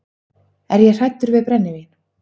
Er ég hræddur við brennivín?